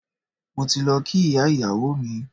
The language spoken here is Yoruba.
Mo ti lọ kí ìyá ìyàwó mi.